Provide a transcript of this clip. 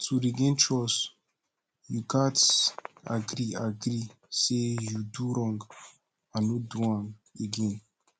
to regain trust yu gats agree agree say yu do wrong and no do am again